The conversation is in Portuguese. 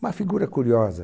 Uma figura curiosa.